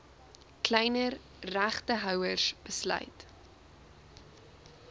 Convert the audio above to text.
kleiner regtehouers besluit